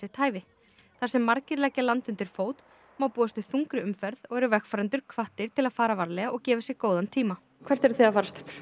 hæfi þar sem margir leggja land undir fót má búast við þungri umferð og eru vegfarendur hvattir til að fara varlega og gefa sér góðan tíma hvert eru þið að fara stelpur